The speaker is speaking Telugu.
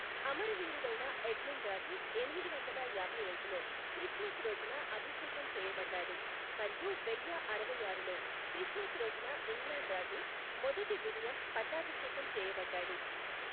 అమరవీరుడైన ఎడ్మండ్ రాజు ఎనిమిది వందల యాభై ఐదులో క్రిస్మస్ రోజున అభిషేకం చేయబడ్డాడు మరియు వెయ్య అరవైఆరులో క్రిస్మస్ రోజున ఇంగ్లాండ్ రాజు మొదటి విలియం పట్టాభిషేకం చేయబడ్డాడు.